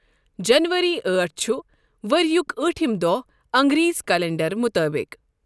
جنؤری ٲٹھ چھ ؤریُک اۭٹِھم دۄہ اَنگریزی کیلنڈر مطٲبِق۔